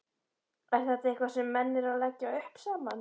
Er þetta eitthvað sem menn eru að leggja upp saman?